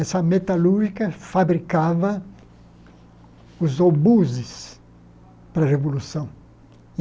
Essa metalúrgica fabricava os obuses para a Revolução.